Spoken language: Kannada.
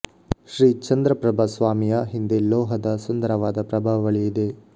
ಶ್ರೀ ಚಂದ್ರಪ್ರಭ ಸ್ವಾಮಿಯ ಹಿಂದೆ ಲೋಹದ ಸುಂದರವಾದ ಪ್ರಭಾವಳಿ ಇದೆ